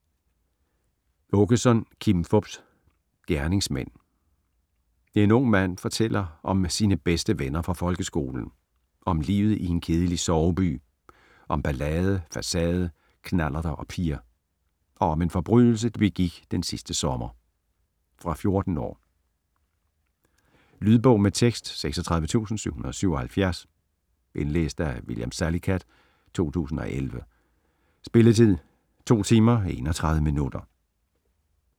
Aakeson, Kim Fupz: Gerningsmænd En ung mand fortæller om sine bedste venner fra folkeskolen. Om livet i en kedelig soveby, om ballade, facade, knallerter og piger. Og om en forbrydelse, de begik den sidste sommer. Fra 14 år. Lydbog med tekst 36777 Indlæst af William Salicath, 2011. Spilletid: 2 timer, 31 minutter.